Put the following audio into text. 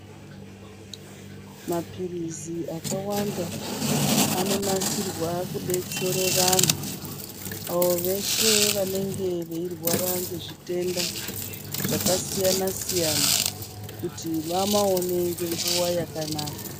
Mapirizi akawanda anonasirwa kudetsere vanhu veshe vanenge veirwara ngezvitenda zvakasiyana siyana kuti vamaone ngenguva yakanaka